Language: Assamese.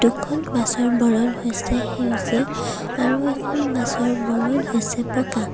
দুখন বাছ ৰ বৰণ হৈছে সেউজীয়া আৰু এখন বাছ ৰ বৰণ হৈছে বগা।